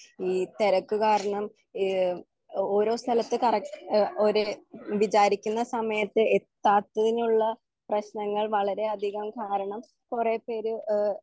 ഈ തെരക്ക് കാരണം എഹ് ഓരോ സ്ഥലത്ത് കറ ഒര് വിജാരിക്കുന്ന സമയത്ത് എത്താത്തതിനുള്ള പ്രേശ്നങ്ങൾ വളരെ അധികം കാരണം കൊറേ പേര് എഹ്